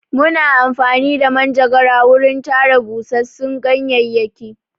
Muna amfani da manjagara wurin tara busassun ganyayyaki.